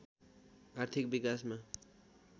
आर्थिक विकासमा